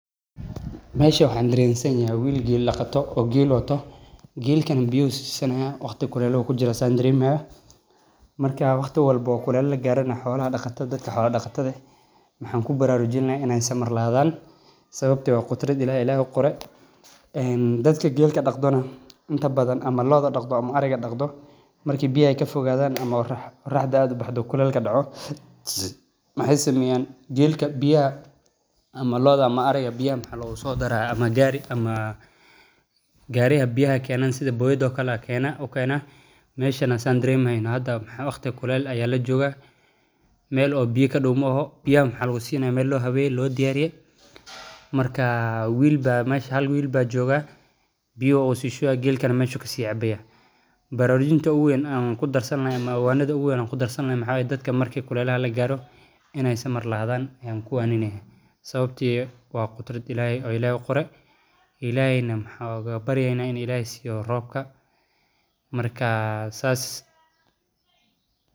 Meeshan waxaan arki haaya wiil geel daqata ah oo biya siini haayo geeliisa dadka geela daqdo marki aay biyaha kafogadaan gaari ayaa ukeena biyaha meesha waqti kuleel ayaa lajoogaa hal wiil ayaa jooga geel meeshaas ayuu biya kacabi haayan waxaan ujeeda beer waan kahelaa dirta soo baxdo waa ubax soo baxay bilic ayeey ledahay marka waa sheey aad muhiim u ah oo lagu soo bandige xog aruurin cilmiya casri loo isticmaala sababo badan.